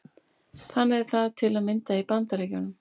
Þannig er það til að mynda í Bandaríkjunum.